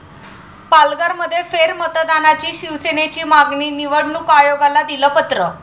पालघरमध्ये फेरमतदानाची शिवसेनेची मागणी, निवडणूक आयोगाला दिलं पत्र